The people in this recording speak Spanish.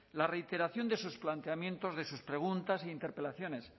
la reiteración de sus planteamientos de sus preguntas e interpelaciones